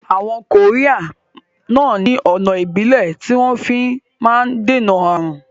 Àwọn koría náà ni ọ̀nà Ìbílẹ̀ tí wọn fi náà ń dènà aàrùn